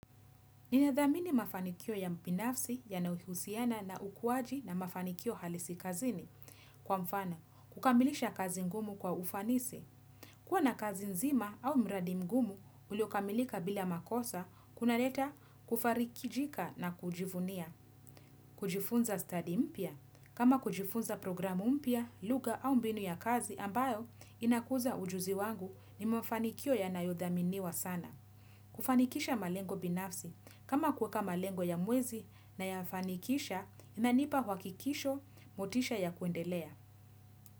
Ninathamini mafanikio ya binafsi yanayouhiusiana na ukuwaji na mafanikio halisi kazini. Kwa mfano, kukamilisha kazi ngumu kwa ufanisi. Kuwa na kazi nzima au mradi mgumu, uliokamilika bila makosa, kuna leta kufarikijika na kujivunia. Kujifunza study mpya, kama kujifunza programu mpya, lugha au mbinu ya kazi ambayo inakuza ujuzi wangu ni mafanikio ya nayodhaminiwa sana. Kufanikisha malengo binafsi kama kuweka malengo ya mwezi na yafanikisha inanipa wakikisho motisha ya kuendelea.